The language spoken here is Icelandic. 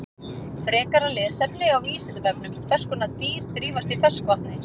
Frekara lesefni á Vísindavefnum: Hvers konar dýr þrífast í ferskvatni?